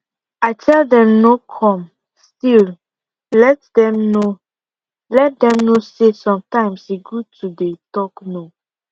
i tell dem no come still let dem know let dem know say sometimes e good to dey talk no